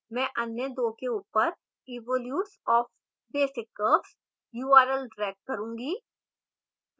मैं अन्य दो के ऊपर evolutes of basic curves url drag करूँगी